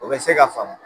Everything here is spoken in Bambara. O bɛ se ka faamu